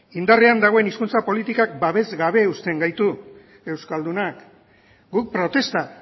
indarrean dagoen hizkuntza politika babesgabe uzten gaitu euskaldunak guk protesta